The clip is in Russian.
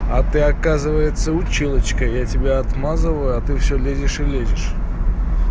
а ты оказывается училочка я тебе отмазал а ты всё лезешь или лезешь